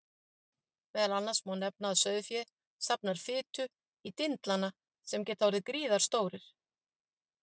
Meðal annars má nefna að sauðfé safnar fitu í dindlana sem geta orðið gríðarstórir.